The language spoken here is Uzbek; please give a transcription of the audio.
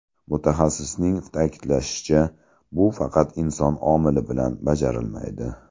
Mutaxassisning ta’kidlashicha, bu faqat inson omili bilan bajarilmaydi.